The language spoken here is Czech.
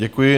Děkuji.